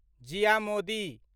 Jiya Modi